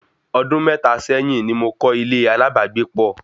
Ọdún mẹ́ta sẹ́yìn ni mo kọ́ ilé alábàágbépọ̀